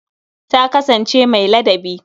Ta kasansance mai ladabi.